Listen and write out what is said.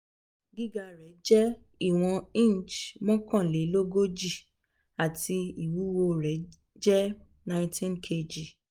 gíga rẹ̀ jẹ́ ìwọ̀n inch mọ́kànlélógójì ati iwuwo jẹ nineteen kg